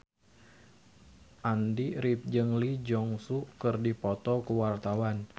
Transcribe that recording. Andy rif jeung Lee Jeong Suk keur dipoto ku wartawan